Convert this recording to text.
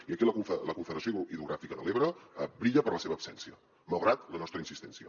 i aquí la confederació hidrogràfica de l’ebre brilla per la seva absència malgrat la nostra insistència